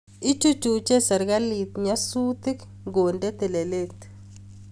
Ichuchucho serkalit nyasutik ngonde telelet